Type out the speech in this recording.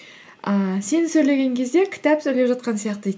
ііі сен сөйлеген кезде кітап сөйлеп жатқан сияқты дейді